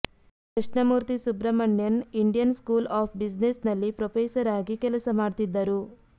Krishnamurthy Subramanian Indian School of Business ನಲ್ಲಿ professor ಆಗಿ ಕೆಲಸ ಮಾಡ್ತಿದ್ದರು